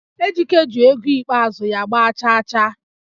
Ejike ji ego ikpeazụ ya gba chaachaa